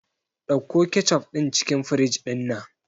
Ɗauko kecof din cikin fridge dinnan